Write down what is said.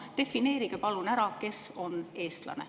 Defineerige palun ära, kes on eestlane.